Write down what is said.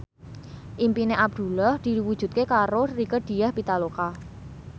impine Abdullah diwujudke karo Rieke Diah Pitaloka